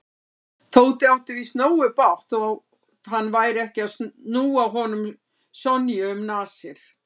Tóti átti víst nógu bágt þótt hann færi ekki að núa honum Sonju um nasir.